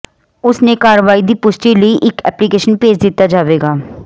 ਉਸ ਨੇ ਕਾਰਵਾਈ ਦੀ ਪੁਸ਼ਟੀ ਲਈ ਇੱਕ ਐਪਲੀਕੇਸ਼ਨ ਭੇਜ ਦਿੱਤਾ ਜਾਵੇਗਾ